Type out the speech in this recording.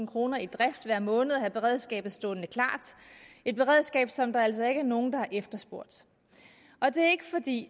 kroner i drift hver måned at have beredskabet stående klart et beredskab som der altså ikke er nogen der har efterspurgt det er ikke fordi